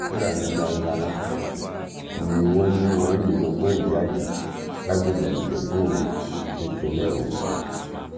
fúlàní darandaran kan ni wọ́n ní wọ́n yìnbọn mọ́ ìyá yìí lágbègbè ìjẹbú òru nípìnlẹ̀ ògùn